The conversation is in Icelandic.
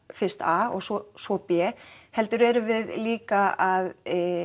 fyrst a og svo svo b heldur erum við líka að